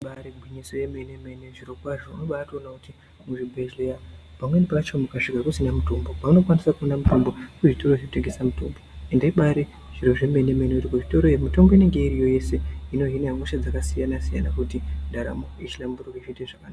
Igwinyiso yemene mene zvirokwazvo unobatoona kuti muzvibhedhleya pamweni pacho mukasvika kusina mutombo vanokwanise kuona mutombo kuzvitoro zvinotengese mitombo ende ibari zviro zvemene mene kuti kuzvitoro iyo mitombo inenge iriyo yese inohina hosha dzakasiyana siyana kuti ndaramo ihlamburuke zviite zvakanaka.